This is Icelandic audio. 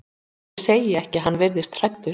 Ég segi ekki að hann virðist hræddur.